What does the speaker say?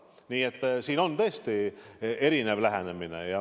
Nii et siin on tõesti erinev lähenemine.